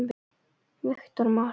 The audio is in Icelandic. Viktor Már.